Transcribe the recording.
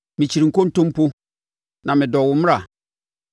Mekyiri nkontompo na medɔ wo mmara.